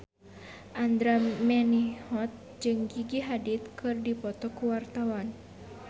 Andra Manihot jeung Gigi Hadid keur dipoto ku wartawan